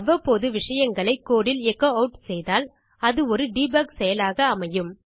அவ்வப்போது விஷயங்களை கோடு இல் எச்சோ ஆட் செய்தால் அது ஒரு டெபக் செயலாக அமையும்